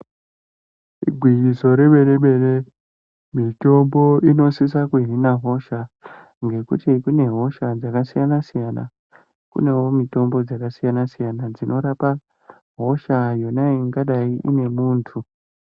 Igwinyiso remene-mene mitombo inosisa kuhina hosha ngekuti kunehosha dzakasiyana-siyana. Kunewo mitombo dzakasiyana-siyana dzinorapa hosha yonayi ingadai ine muntu.